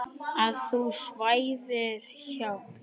Að þú svæfir hjá.